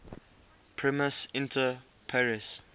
primus inter pares